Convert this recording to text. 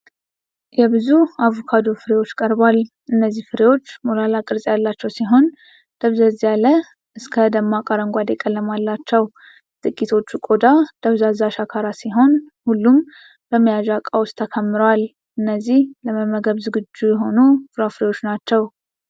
የብዙ አቮካዶ ፍሬዎች ቀርቧል። እነዚህ ፍሬዎች ሞላላ ቅርፅ ያላቸው ሲሆን፣ ደብዘዝ ያለ እስከ ደማቅ አረንጓዴ ቀለም አላቸው። የጥቂቶቹ ቆዳ ደብዛዛ ሸካራ ሲሆን፣ ሁሉም በመያዣ ዕቃ ውስጥ ተከምረዋል። እነዚህ ለመመገብ ዝግጁ የሆኑ ፍሬዎች ናቸው።